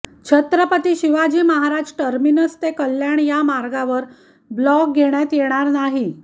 Chhatrapati Shivaji Maharaj terminus ते कल्याण या मार्गावर ब्लॉक घेण्यात येणार नाही